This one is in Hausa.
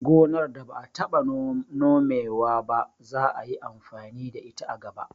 Gonar da ba'a taɓa Nome wa ba za'a yi amfani da ita a gaba